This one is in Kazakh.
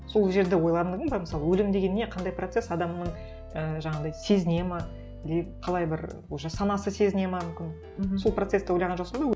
сол жерді ойландың ба мысалы өлім деген не қандай процесс адамның і жаңағындай сезінеді ме деп қалай бір уже санасы сезінеді ме мүмкін мхм сол процессті ойлаған жоқсың ба